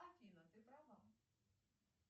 афина ты права